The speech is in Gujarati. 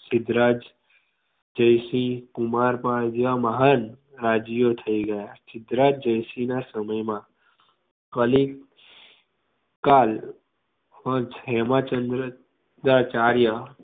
સિદ્ધરાજ જયસિંહ કુમારપાળ જેવા મહાન રાજવીઓ થઇ ગયા. સિદ્ધરાજ જયસિંહના સમયમાં કલી કાળ હેમચંદ્ર સિદ્ધાચાર્ય